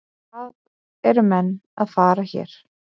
Hvað eru menn að fara hér?